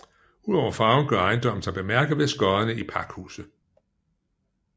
Udover farven gør ejendommen sig bemærket ved skodderne i pakhuset